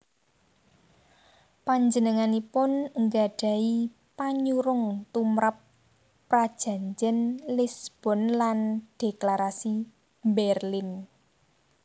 Panjenenganipun nggadhahi panyurung tumrap Prajanjén Lisbon lan Dhéklarasi Bérlin